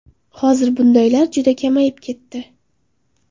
Hozir bundaylar juda kamayib ketdi.